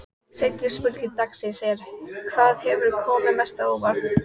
Seinni spurning dagsins er: Hvað hefur komið mest á óvart?